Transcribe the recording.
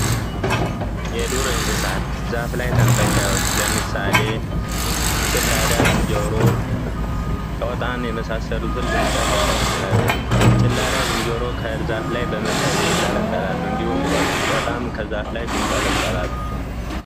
የዱር እንስሳት ዛፍ ላይ ተንጠልጣዮች ለምሳሌ ጭላዳ ዝንጀሮ ጦጣ የመሳሰሉትን ልንጠቀስ እንችላለን ጭላዳ ዝንጀሮዎች ላይ እንጠለጠላሉ እንዲሁም ጦጣም ከዛፍ ላይ ይንጠለጠላል።